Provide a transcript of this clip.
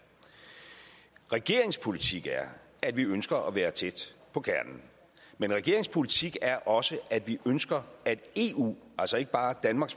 regeringens politik er at vi ønsker at være tæt på kernen men regeringens politik er også at vi ønsker at eu altså ikke bare danmark